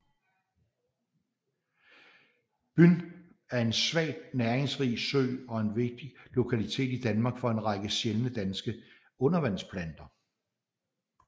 Byn er en svagt næringsrig sø og en vigtig lokalitet i Danmark for en række sjældne danske undervandsplanter